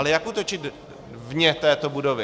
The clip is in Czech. Ale jak útočit vně této budovy?